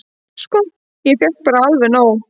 """Sko, ég fékk bara alveg nóg."""